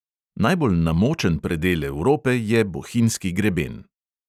Najbolj namočen predel evrope je bohinjski greben.